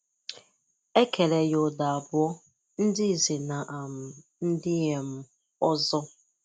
E Kere ya Ụdo abụọ; ndị nze na um ndị um ọzọ.